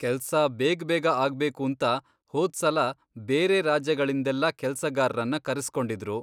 ಕೆಲ್ಸ ಬೇಗ್ಬೇಗ ಆಗ್ಬೇಕೂಂತ ಹೋದ್ಸಲ ಬೇರೆ ರಾಜ್ಯಗಳಿಂದೆಲ್ಲ ಕೆಲ್ಸಗಾರ್ರನ್ನ ಕರೆಸ್ಕೊಂಡಿದ್ರು.